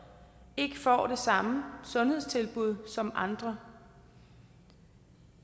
ikke får det samme sundhedstilbud som andre